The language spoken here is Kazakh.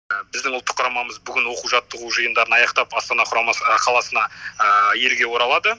біздің ұлттық құрамамыз бүгін оқу жаттығу жиындарын аяқтап астана құрамасы қаласына елге оралады